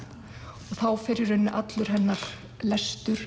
og þá fer í rauninni allur hennar lestur